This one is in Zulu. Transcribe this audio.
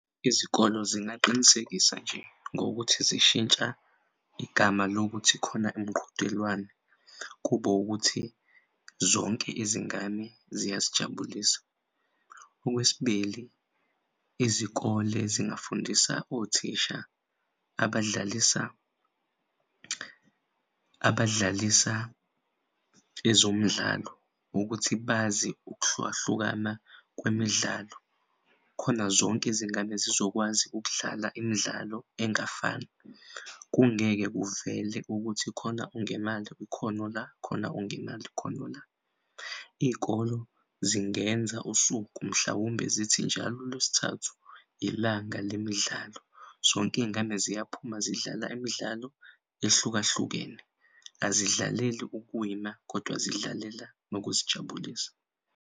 Izikole zingaqinisekisa nje ngokuthi zishintsha igama lokuthi khona imiqhudelwano kube ukuthi zonke izingane ziyazijabulisa. Okwesibili, izikole zingafundisa othisha abadlalisa ezomdlalo ukuthi bazi ukuhlukahlukana kwemidlalo khona zonk'izingane zizokwazi ukudlala imidlalo engafani, kungeke kuvele ukuthi khona ongenal'ikhono la khona khona ongenal'ikhono la. Iy'kolo zingenza usuku, mhlawumbe zithi njalo uLwesithathu ilanga lemidlalo zonke iy'ngane ziyaphuma zidlala imidlalo ehlukahlukene. Azidlaleli ukuwina kodwa zidlalela nokuzijabulisa.